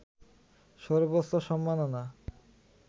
সর্বোচ্চ সম্মাননা